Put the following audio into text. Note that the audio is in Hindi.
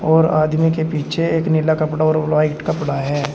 और आदमी के पीछे एक नीला कपड़ा और वाइट कपड़ा है।